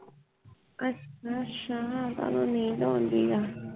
ਅੱਛਾ ਅੱਛਾ ਤੈਨੂੰ ਨੀਂਦ ਆਉਣ ਦੀਆ